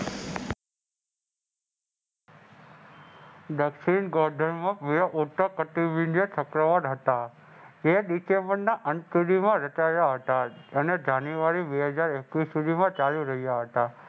દક્ષિણ